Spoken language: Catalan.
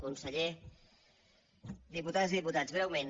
conseller diputades i diputats breument